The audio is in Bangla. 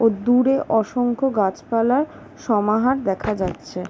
ওহ দূরে অসংখ্য গাছপালার সমাহার দেখা যাচ্ছে।